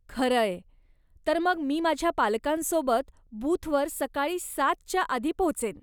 खरंय. तर मग मी माझ्या पालकांसोबत बूथवर सकाळी सात च्या आधी पोहोचेन.